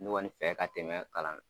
Ne kɔni fɛ ka tɛmɛ kalan